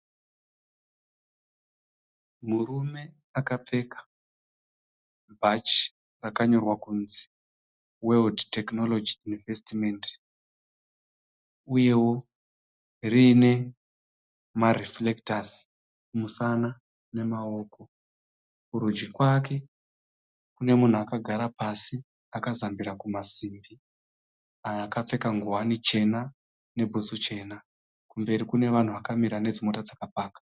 Murume akapfeka bhachi rakanyorwa kunzi (World technology investment) uyewo riine ma(reflectors) kumusana nemaoko. Kurudyi kwake kune munhu akagara pasi akazembera kumasimbi akapfeka ngowani chena nebhutsu chena. Kumberi kune vanhu vakamira nedzimotokari dzakapakwa.